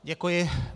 Děkuji.